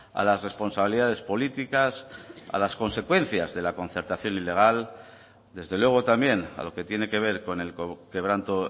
a las responsabilidades políticas a las consecuencias de la concertación ilegal desde luego también a lo que tiene que ver con el quebranto